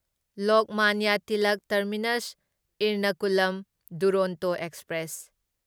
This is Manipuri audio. Lokmanya Tilak terminus Ernakulam Duronto express